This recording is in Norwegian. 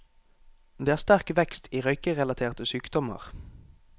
Det er sterk vekst i røykerelaterte sykdommer.